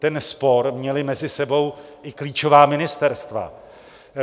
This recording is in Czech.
Ten spor měla mezi sebou i klíčová ministerstva.